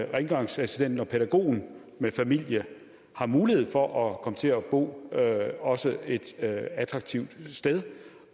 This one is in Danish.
rengøringsassistenten og pædagogen med familie har mulighed for at komme til at bo også et attraktivt sted